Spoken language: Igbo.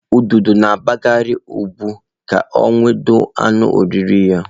Ududo na-agbagharị ụgbụ ka ọ nwụde anụ oriri ha.